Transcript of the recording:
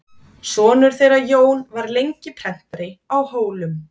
Sonur þeirra Jón var lengi prentari á Hólum.